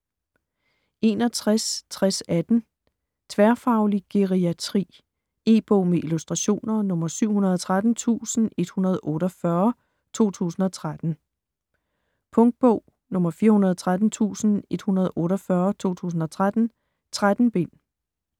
61.6018 Tværfaglig geriatri E-bog med illustrationer 713148 2013. Punktbog 413148 2013. 13 bind.